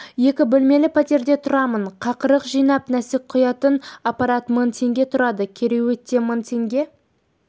екі бөлмелі пәтерде тұрамын қақырық жинап нәжіс құятын аппарат мың теңге тұрады кереует те мың теңге